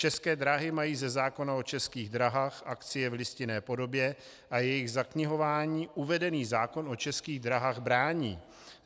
České dráhy mají ze zákona o Český dráhách akcie v listinné podobě a jejich zaknihování uvedený zákon o Českých dráhách brání.